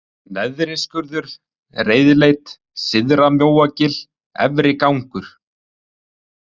Neðriskurður, Reiðleit, Syðra-Mjóagil, Efri-Gangur